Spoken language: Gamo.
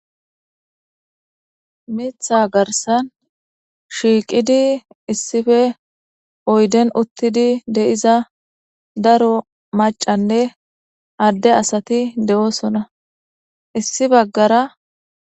Mitha garsan shiiqidi issife oyden uttidi de7iza daro macanne adde asati de7oosona issi baggara.